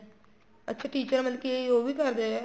ਅੱਛਾ teacher ਮਤਲਬ ਕੀ ਉਹ ਵੀ ਕਰਦੇ ਏ